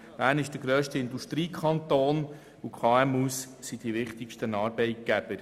Bern ist der grösste Industriekanton, und die KMU sind die wichtigsten Arbeitgeber.